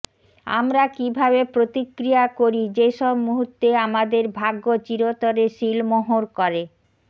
আমরা কিভাবে প্রতিক্রিয়া করি যেসব মুহুর্তে আমাদের ভাগ্য চিরতরে সীলমোহর করে